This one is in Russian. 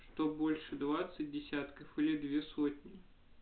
что больше двадцать десятков и две сотни